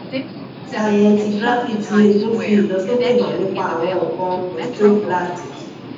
scintigraphy ti egun fi ilosoke han nipa awon nkan osteoblastic